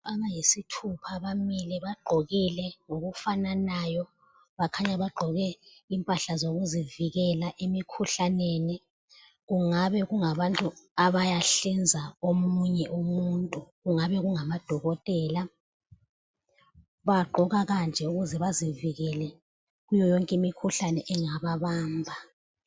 Abayisithupha bamile bagqokile ngokufananayo. Bakhanya bagqoke impahla zokuzivikela emikhuhlaneni. Kungabe kungabantu abayahlinza omunye umuntu. Kungabe kunga madokotela. Bagqoka kanje ukuze bazivikele kuyo yonke imikhuhlane engaba bamba.